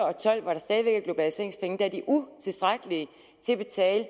og tolv hvor der stadig væk er globaliseringspenge er de utilstrækkelige til at betale